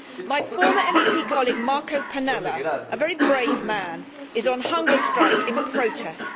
My former MEP colleague Marco Pannella, a very brave man, is on hunger strike in protest.